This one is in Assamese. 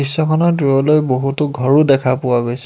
দৃশ্যখনৰ দূৰলৈ বহুতো ঘৰো দেখা পোৱা গৈছে।